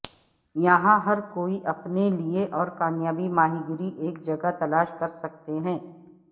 یہاں ہر کوئی اپنے لئے اور کامیابی ماہی گیری ایک جگہ تلاش کر سکتے ہیں